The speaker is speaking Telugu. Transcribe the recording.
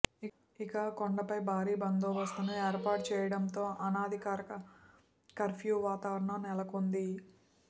ఇక కొండపై భారీ బందోబస్తును ఏర్పాటు చెయ్యడంతో అనధికారిక కర్ఫ్యూ వాతావరణం నెలకొంది